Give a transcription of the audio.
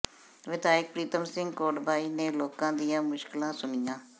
ਵਿਧਾਇਕ ਪ੍ਰੀਤਮ ਸਿੰਘ ਕੋਟਭਾਈ ਨੇ ਲੋਕਾਂ ਦੀਆਂ ਮੁਸ਼ਕਿਲਾਂ ਸੁਣੀਆਂ